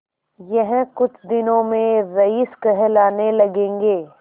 यह कुछ दिनों में रईस कहलाने लगेंगे